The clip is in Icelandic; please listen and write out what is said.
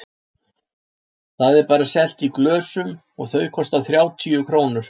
Það er bara selt í glösum og þau kosta þrjátíu krónur.